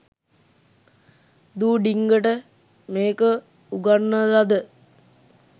දූ ඩිංගට මේක උගන්නලද